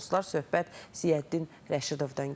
Söhbət Ziyəddin Rəşidovdan gedir.